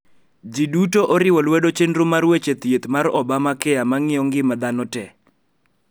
Ji duto oriwo lwedo chenro mar weche thieth mar Obama Care ma ng`iyo ngima dhano tee